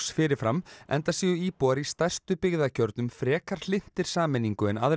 fyrir fram enda séu íbúar í stærstu byggðakjörnum frekar hlynntir sameiningu en aðrir